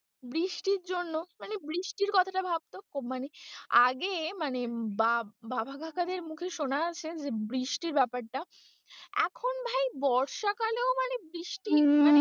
বৃষ্টির জন্য মানে বৃষ্টির কথাটা ভাবতো মানে আগে মানে বাবা কাকাদের মুখে সোনা আছে যে বৃষ্টি ব্যাপারটা এখন ভাই বর্ষা কালেও মানে বৃষ্টি।